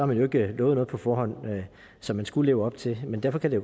man jo ikke lovet noget på forhånd som man skulle leve op til men derfor kan det